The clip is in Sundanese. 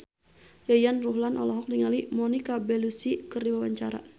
Yayan Ruhlan olohok ningali Monica Belluci keur diwawancara